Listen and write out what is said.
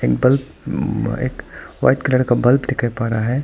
Bulb एक white colour का bulb दिखाई पड़ रहा है।